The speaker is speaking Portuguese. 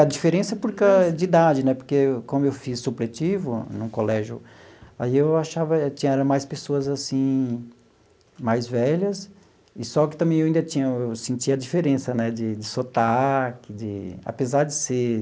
A diferença por causa de idade né, porque como eu fiz supletivo no colégio, aí eu achava tinha era mais pessoas assim mais velhas, e só que também eu ainda tinha eu sentia a diferença né de de sotaque de... apesar de ser